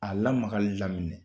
A lamakali daminɛ